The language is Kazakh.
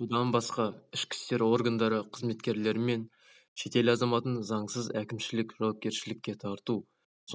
бұдан басқа ішкі істер органдары қызметкерлерімен шетел азаматын заңсыз әкімшілік жауапкершілікке тарту